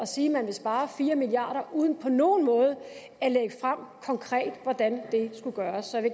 sige at man vil spare fire milliard kroner uden på nogen måde at lægge frem konkret hvordan det skulle gøres så jeg